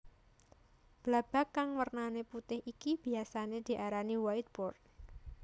Blabag kang wernané putih iki biyasané diarani whiteboard